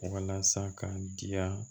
Walasa ka diya